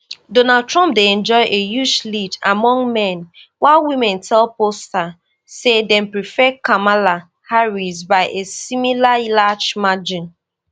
donald trump dey enjoy a huge lead among men while women tell pollsters say dem prefer kamala harris by a similarly large margin